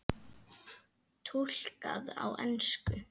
Túlkað á ensku.